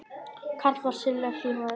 Karl var sérlega hlýr maður.